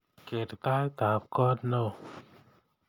Keer taitab koot neo